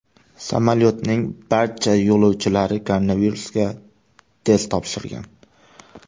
Samolyotning barcha yo‘lovchilari koronavirusga test topshirgan.